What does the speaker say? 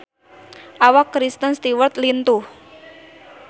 Awak Kristen Stewart lintuh